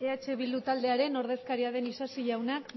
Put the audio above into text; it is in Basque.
eh bildu taldearen ordezkaria den isasi jaunak